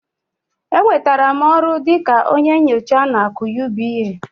Enwetara m ọrụ dị ka onye nyocha na AKỤ UBA